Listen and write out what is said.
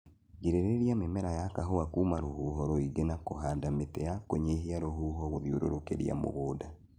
Girĩrĩria mĩmera ya kahũa kuma rũhuho rũingĩ na kũhanda mĩti ya kũnyihia rũhuho gũthiũrũrũkĩria mũgũnda